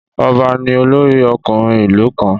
Ọba ní olórí ọkùnrin ìlú kanr